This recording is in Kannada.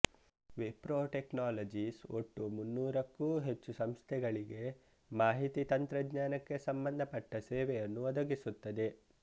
ವಿಪ್ರೊ ಟೆಕ್ನಾಲಜೀಸ್ ಒಟ್ಟು ಮುನ್ನೂರಕ್ಕೂ ಹೆಚ್ಚು ಸಂಸ್ಥೆಗಳಿಗೆ ಮಾಹಿತಿ ತಂತ್ರಜ್ಞಾನಕ್ಕೆ ಸಂಬಂಧಪಟ್ಟ ಸೇವೆಯನ್ನು ಒದಗಿಸುತ್ತದೆ